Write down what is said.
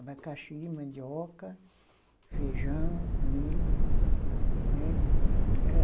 Abacaxi, mandioca, feijão, milho, né. Era